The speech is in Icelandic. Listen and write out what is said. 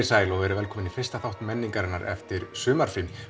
sæl og velkomin í fyrsta þátt menningarinnar eftir sumarfrí